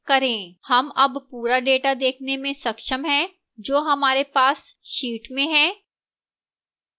हम अब पूरा data देखने में सक्षम हैं जो हमारे पास sheet में है